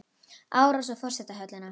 Árás á forsetahöllina